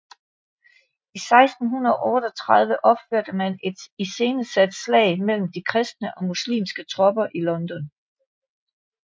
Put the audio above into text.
I 1638 opførte man et iscenesat slag mellem de kristne og muslimske tropper i London